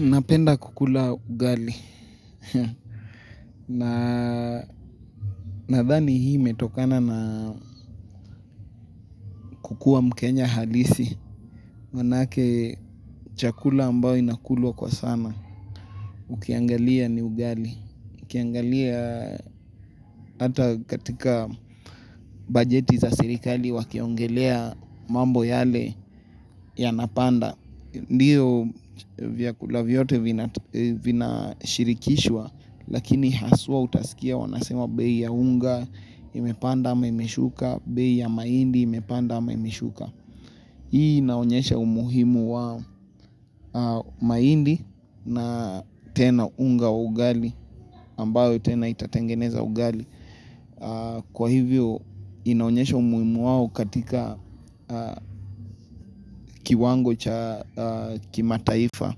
Napenda kukula ugali. Nadhani hii imetokana na kukua mkenya halisi maanake chakula ambao inakulwa kwa sana ukiangalia ni ugali, ukiangalia hata katika bajeti za serikali wakiongelea mambo yale yanapanda ndiyo vyakula vyote vina shirikishwa, lakini haswa utaskia wanasema bei ya unga imepanda ama imeshuka, bei ya mahindi imepanda ama imeshuka. Hii inaonyesha umuhimu wa mahindi na tena unga wa ugali ambayo tena itatengeneza ugali. Kwa hivyo inaonyesha umuhimu wao katika kiwango cha kimataifa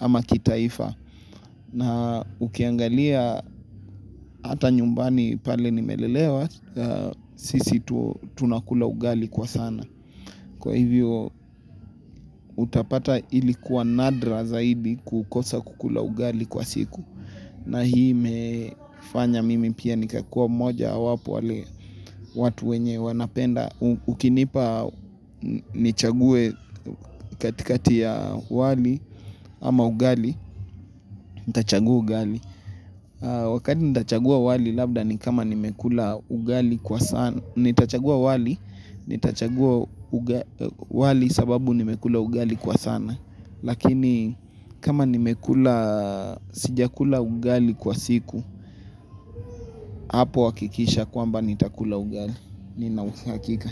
ama kitaifa na ukiangalia hata nyumbani pale nimelelewa, sisi tunakula ugali kwa sana. Kwa hivyo utapata ilikuwa nadra zaidi kukosa kukula ugali kwa siku. Na hii imefanya mimi pia nikakua mojawapo wale watu wenye wanapenda. Ukinipa nichague katikati ya wali ama ugali, nitachagua ugali. Wakati nitachagua wali labda ni kama nimekula ugali kwa sana. Nitachagua wali sababu nimekula ugali kwa sana. Lakini kama nimekula, sijakula ugali kwa siku, hapo hakikisha kwamba nitakula ugali. Nina uhakika.